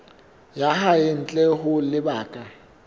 ya hae ntle ho lebaka